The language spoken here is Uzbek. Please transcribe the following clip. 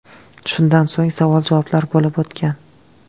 Shundan so‘ng savol-javoblar bo‘lib o‘tgan.